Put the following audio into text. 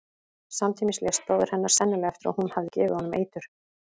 Samtímis lést bróðir hennar, sennilega eftir að hún hafði gefið honum eitur.